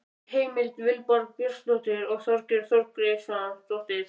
Heimild: Vilborg Björnsdóttir og Þorgerður Þorgeirsdóttir.